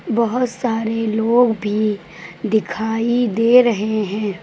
बहोत सारे लोग भी दिखाई दे रहे हैं।